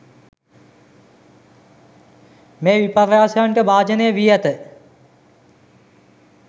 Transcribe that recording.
මේ විපර්යාසයන්ට භාජනය වී ඇත.